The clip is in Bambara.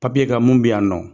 Papiye kan mun bɛ yan nɔ